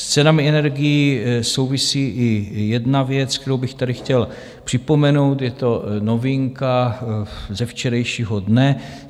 S cenami energií souvisí i jedna věc, kterou bych tady chtěl připomenout, je to novinka ze včerejšího dne.